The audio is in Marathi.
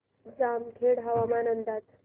जामखेड हवामान अंदाज